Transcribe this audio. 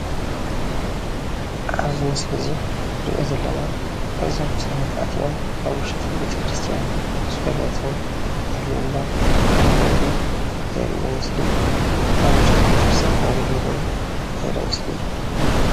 ኣብዚ ምስሊ እዙይ እንሪኦ ዘለና እዞም ሰባት ኣትዮም ኣብ ውሽጢ ቤተክርስትያን ፀሎትን ምህልላ እንዳገበሩ ዘርኢ ምስሊ እዩ። ኣብ ውሽጢ ቤተክርስትያን ከም ዘለው ድማ ዘርኢ ምስሊ እዩ።